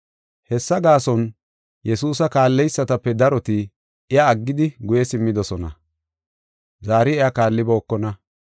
Hessa gaason, Yesuusa kaalleysatape daroti iya aggidi guye simmidosona; zaari iya kaallibookona.